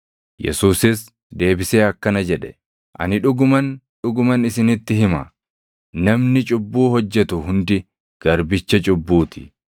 Yesuusis deebisee akkana jedhe; “Ani dhuguman, dhuguman isinitti hima; namni cubbuu hojjetu hundi garbicha cubbuu ti.